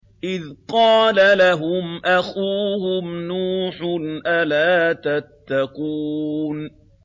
إِذْ قَالَ لَهُمْ أَخُوهُمْ نُوحٌ أَلَا تَتَّقُونَ